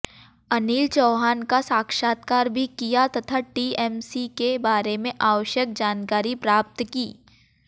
अनिल चौहान का साक्षात्कार भी किया तथा टीएमसी के बारे में आवश्यक जानकारी प्राप्त की